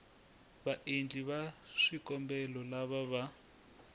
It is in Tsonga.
vaendli va swikombelo lava va